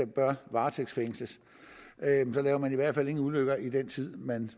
bør varetægtsfængsles så laver man i hvert fald ingen ulykker i den tid man